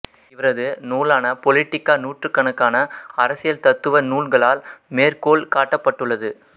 இவரது நூலான பொலிட்டிக்கா நூற்றுக்கணக்கான அரசியல் தத்துவநூல்களால் மேற்கோள் காட்டப்பட்டுள்ளது